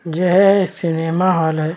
यह cinema hall है।